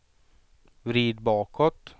vrid bakåt